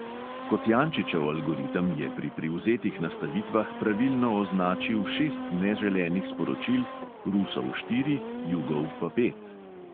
Kocijančičev algoritem je pri privzetih nastavitvah pravilno označil šest neželenih sporočil, rusov štiri, jugov pa pet.